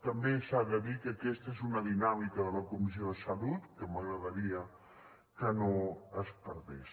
també s’ha de dir que aquesta és una dinàmica de la comissió de salut que m’agradaria que no es perdés